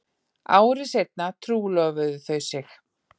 Ári seinna trúlofuðu þau sig